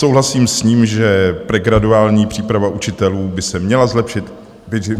Souhlasím s ním, že pregraduální příprava učitelů by se měla zlepšit.